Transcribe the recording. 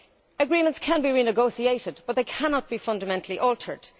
Agreements can be renegotiated, but they cannot be fundamentally altered.